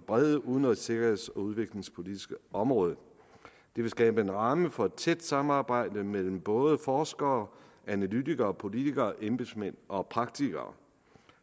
brede udenrigs sikkerheds og udviklingspolitiske område det vil skabe en ramme for et tæt samarbejde mellem både forskere analytikere politikere embedsmænd og praktikere